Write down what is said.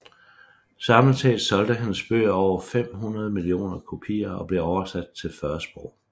Samlet set solgte hendes bøger over 500 millioner kopier og blev oversat til 40 sprog